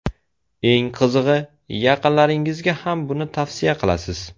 Eng qizig‘i, yaqinlaringizga ham buni tavsiya qilasiz.